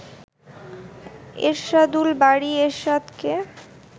Ershadul Bari এরশাদকে